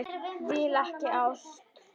Vill ekki ást.